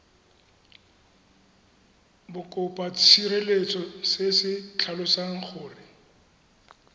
bokopatshireletso se se tlhalosang gore